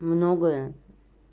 многое